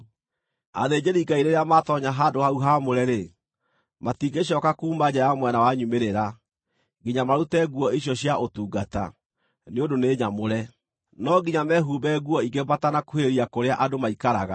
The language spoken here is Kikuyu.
Athĩnjĩri-Ngai rĩrĩa maatoonya handũ hau haamũre-rĩ, matingĩcooka kuuma nja ya mwena wa nyumĩrĩra, nginya marute nguo icio cia ũtungata, nĩ ũndũ nĩ nyamũre. No nginya mehumbe nguo ingĩ matanakuhĩrĩria kũrĩa andũ maikaraga.”